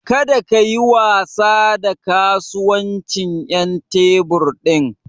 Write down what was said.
Kada kayi wasa da kasuwancin ƴan tebur ɗin.